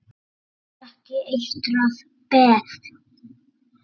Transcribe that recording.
Það er ekki eitrað peð?